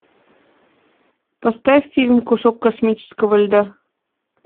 поставь фильм кусок космического льда